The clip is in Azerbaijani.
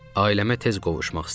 Ailəmə tez qovuşmaq istəyirdim.